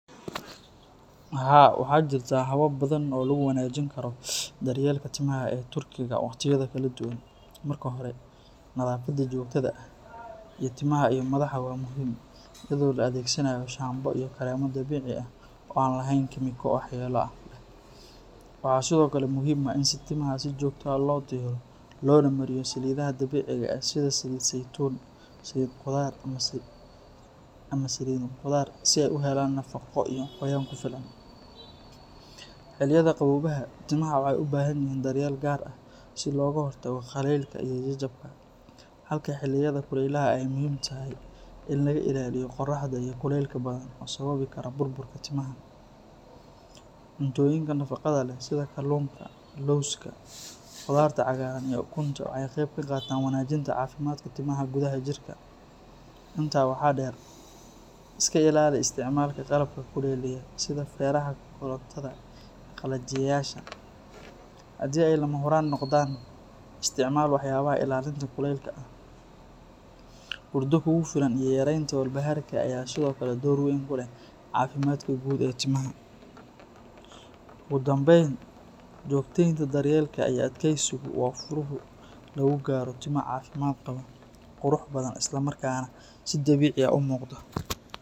Haa, waxaa jirta habab badan oo lagu wanaajin karo daryeelka timaha ee turkiga wakhtiyada kala duwan. Marka hore, nadaafadda joogtada ah ee timaha iyo madaxa waa muhiim, iyadoo la adeegsanayo shaambo iyo kareemo dabiici ah oo aan lahayn kiimiko waxyeello leh. Waxaa sidoo kale muhiim ah in timaha si joogto ah loo diro loona mariyo saliidaha dabiiciga ah sida saliid saytuun, saliid qudaar, ama saliid khudaar, si ay u helaan nafaqo iyo qoyaan ku filan. Xilliyada qaboobaha, timaha waxay u baahan yihiin daryeel gaar ah si looga hortago qallaylka iyo jajabka, halka xilliyada kulaylaha ay muhiim tahay in laga ilaaliyo qorraxda iyo kulaylka badan oo sababi kara burburka timaha. Cuntooyinka nafaqada leh sida kalluunka, lawska, khudaarta cagaaran iyo ukunta waxay ka qayb qaataan wanaajinta caafimaadka timaha gudaha jirka. Intaa waxaa dheer, iska ilaali isticmaalka qalabka kululeeya sida feeraha korontada iyo qalajiyeyaasha, haddii ay lama huraan noqdaan, isticmaal waxyaabaha ilaalinta kulaylka ah. Hurdo kugu filan iyo yareynta walbahaarka ayaa sidoo kale door weyn ku leh caafimaadka guud ee timaha. Ugu dambayn, joogtaynta daryeelka iyo adkaysigu waa furaha lagu gaaro timo caafimaad qaba, qurux badan, islamarkaana si dabiici ah u muuqda.